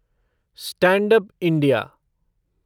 stand up India